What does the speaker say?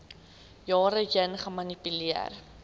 jare heen gemanipuleer